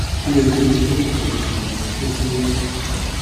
ó yẹ kí o rí dókítà oníṣẹ abẹ ó kéré tán ẹẹkan